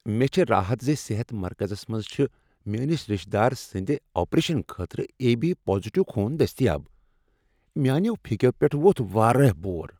مےٚ چھ راحت ز صحت مرکزس منٛز چھ میٲنس رشتہ دار سٕنٛد آپریشن خٲطرٕ اے۔ بی پازٹیو خون دٔستیاب۔ میانیو فیکیو پٮ۪ٹھ وۄتھ واریاہ بور۔